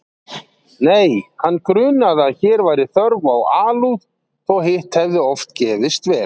Nei, hann grunaði að hér væri þörf á alúð þótt hitt hefði oft gefist vel.